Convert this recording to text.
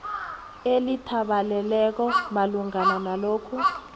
elithabaleleko malungana nalokhu